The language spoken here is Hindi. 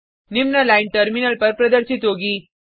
निम्न लाइन टर्मिनल पर प्रदर्शित होगी